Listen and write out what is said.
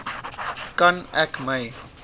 kan ek my